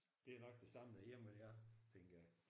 Det er nok det samme derhjemme ved jer tænker jeg